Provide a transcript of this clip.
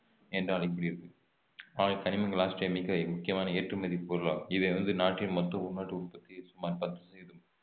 என்று அழைக்கப்படுகிறது கனிமங்கள் ஆஸ்திரேலியாவின் மிக முக்கியமான ஏற்றுமதி பொருளாகும் இது வந்து நாட்டின் மொத்த உள்நாட்டு உற்பத்தி சுமார் பத்து சதவீதம்